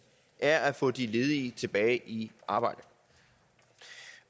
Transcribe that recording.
er at få de ledige tilbage i arbejde